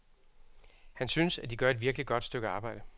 Han synes, at de gør et virkeligt godt stykke arbejde.